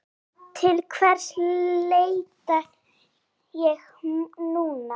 Til hvers leita ég núna?